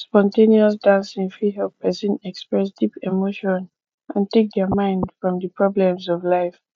spon ten ous dancing fit help person express deep emotion and take their mind from di problems of life